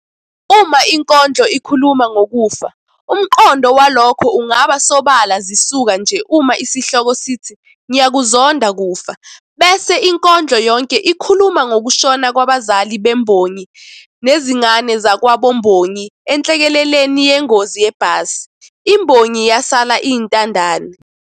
Uma inkondlo ikhuluma ngokufa, umqondo walokho ungaba sobala zisuka nje uma isihloko sithi, "Ngiyakuzonda Kufa" bese inkondlo yonke ikhuluma ngokushona kwabazali bembongi nezingane zakwabombongi enhlekeleleni yengozi yebhasi, imbongi yasala iyintandane.